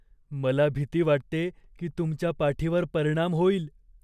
मला भीती वाटते की तुमच्या पाठीवर परिणाम होईल.